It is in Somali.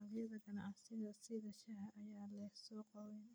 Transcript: Dalagyada ganacsiga sida shaaha ayaa leh suuq weyn.